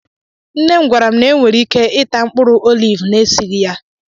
nne m gwara m na enwere ike ịta mkpụrụ oliv na-esịghị ya